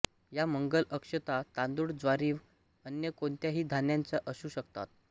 या मंगल अक्षता तांदूळ ज्वारीव अन्य कोणत्याही धान्याच्या असू शकतात